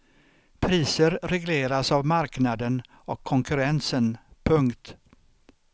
Priser regleras av marknaden och konkurrensen. punkt